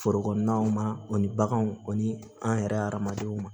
Foro kɔnɔnaw ma o ni baganw ani an yɛrɛ adamadenw ma